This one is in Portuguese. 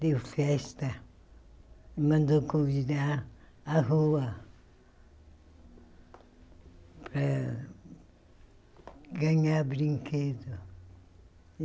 Deu festa, mandou convidar à rua eh ganhar brinquedo.